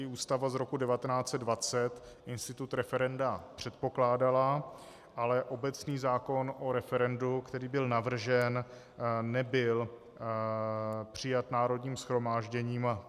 I Ústava z roku 1920 institut referenda předpokládala, ale obecní zákon o referendu, který byl navržen, nebyl přijat Národním shromážděním.